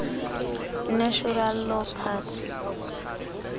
natural law party